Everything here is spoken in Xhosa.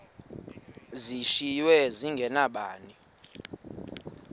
zishiywe zinge nabani